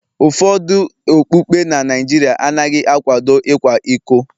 Ụfọdụ okpukpe na Nigeria anaghị akwado ịkwa iko